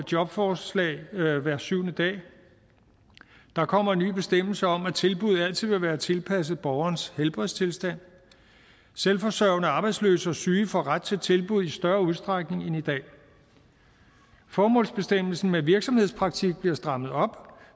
jobforslag hver syvende dag der kommer en ny bestemmelse om at tilbuddet altid vil være tilpasset borgerens helbredstilstand selvforsørgende arbejdsløse og syge får ret til tilbud i større udstrækning end i dag formålsbestemmelsen med virksomhedspraktik bliver strammet op